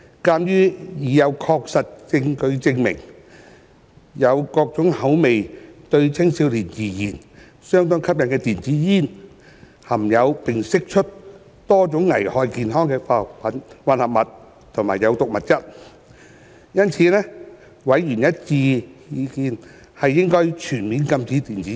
鑒於已有確實證據證明有各種口味並對青少年而言相當吸引的電子煙，含有並釋出多種會危害健康的化學混合物及有毒物質，因此委員的一致意見是應全面禁止電子煙。